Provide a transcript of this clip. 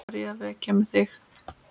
Var ég að vekja þig?